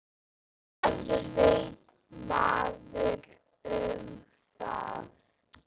Hvað veit maður um það?